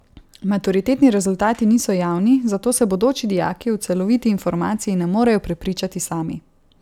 Maturitetni rezultati niso javni, zato se bodoči dijaki o celoviti informaciji ne morejo prepričati sami.